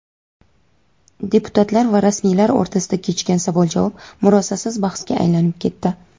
Deputatlar va rasmiylar o‘rtasida kechgan savol-javob murosasiz bahsga aylanib ketdi.